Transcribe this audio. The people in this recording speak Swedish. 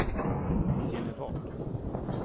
Genevad